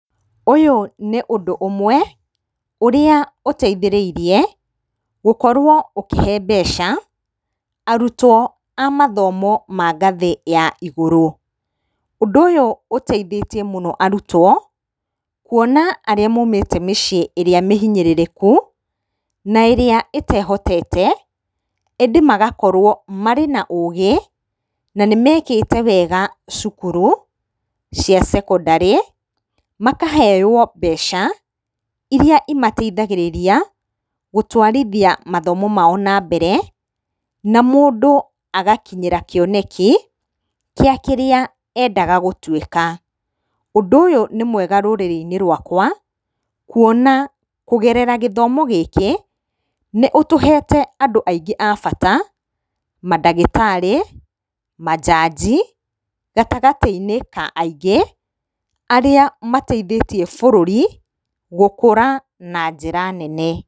Ũyũ nĩ ũndũ ũmwe ũrĩa ũteithĩrĩirie gũkorwo ũkĩhe mbeca arutwo a mathomo ma ngathĩ ya igũrũ. Ũndũ ũyũ ũteithĩtie mũno arutwo kuona arĩa maumĩte mĩciĩ ĩrĩa mĩhinyĩrĩrĩku na ĩrĩa ĩtehotete ĩndĩ magakorwo marĩ na ũgĩ na nĩmekĩte wega cukuru cia cekondarĩ, makaheywo mbeca iria imateithagĩrĩria gũtwarithia mathomo mao na mbere na mũndũ agakinyĩra kĩoneki gĩa kĩrĩa endaga gũtuĩka. Ũndũ ũyũ nĩ mwega rũrĩrĩ-inĩ rwakwa kuona kũgerera gĩthomo gĩkĩ nĩũtũhete andũ aingĩ a bata mandagĩtarĩ, majaji gatagatĩ-inĩ ka aingĩ arĩa mateithĩtie bũrũri gũkũra na njĩra nene.